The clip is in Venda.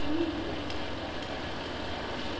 yenei ya kereke ra i